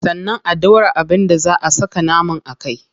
Sannan a dora abin da zaa a saka naman a kai.